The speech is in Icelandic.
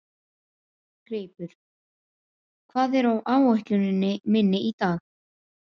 Greipur, hvað er á áætluninni minni í dag?